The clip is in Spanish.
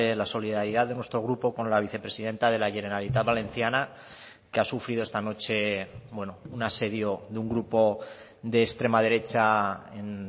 la solidaridad de nuestro grupo con la vicepresidenta de la generalitat valenciana que ha sufrido esta noche un asedio de un grupo de extrema derecha en